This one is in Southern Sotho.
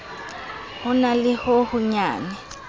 ho na le ho honyane